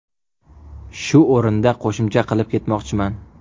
Shu o‘rinda qo‘shimcha qilib ketmoqchiman.